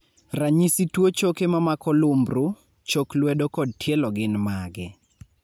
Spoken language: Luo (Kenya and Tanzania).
ranyisi tuo choke mamako lumbru, chok lwedo kod tielo gin mage?